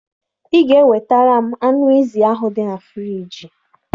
Ị ga-ewetara m anụ ezi ahụ dị na friiji